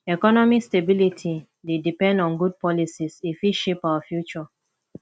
economic stability dey depend on good policies e fit shape our future